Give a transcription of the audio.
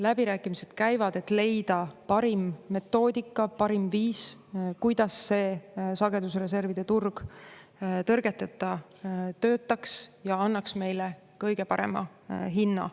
Läbirääkimised käivad, et leida parim metoodika, parim viis, kuidas see sagedusreservide turg tõrgeteta töötaks ja annaks meile kõige parema hinna.